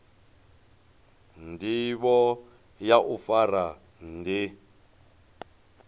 ndivho ya u fara ndi